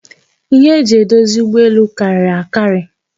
Ihe e ji edozi ụgbọelu karịrị akari